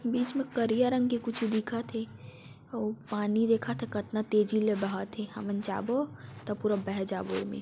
बीच मे करिया रंग के कुछ दिखत हे आऊ पानी दिखत हे कतना तेजी ले बहत हे हमन जाबो तो पूरा बह जाबो ऐमे--